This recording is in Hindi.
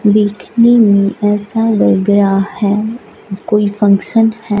दिखने में ऐसा लग रहा है कोई फंक्शन है।